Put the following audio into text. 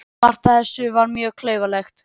Margt af þessu var mjög klaufalegt.